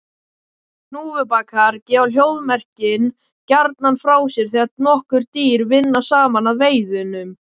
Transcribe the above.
Hnúfubakar gefa hljóðmerkin gjarnan frá sér þegar nokkur dýr vinna saman að veiðunum.